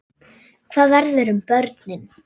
Hvað verður um börnin?